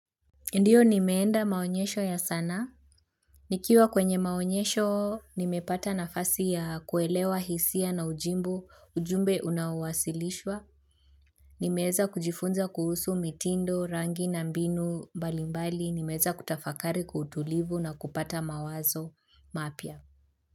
Ndiyo nimeenda maonyesho ya sana, nikiwa kwenye maonyesho nimepata nafasi ya kuelewa hisia na ujumbe unaowasilishwa, nimeeza kujifunza kuhusu mitindo rangi na mbinu mbalimbali, nimeeza kutafakari kwa. Utulivu na kupata mawazo mapya.